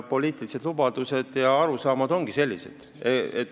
Poliitilised lubadused ja arusaamad ongi sellised.